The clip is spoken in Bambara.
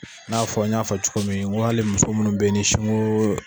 I n'a fɔ n y'a fɔ cogo min n ko ali muso minnu bɛ ni sinko.